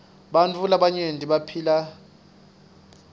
bartfu labaryenti baphila nyabed